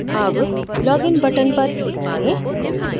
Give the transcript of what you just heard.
अब login button पर click करें